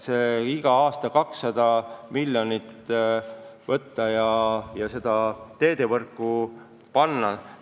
Võiks iga aasta 200 miljonit eurot laenu võtta ja selle teedevõrku panna.